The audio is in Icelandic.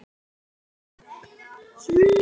Þessu hafði pabbi gaman af.